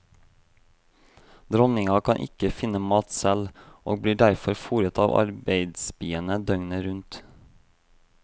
Dronninga kan ikke finne mat selv, og blir derfor foret av arbeidsbiene døgnet rundt.